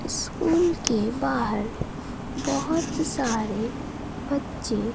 school के बाहर बहोत सारे बच्चे--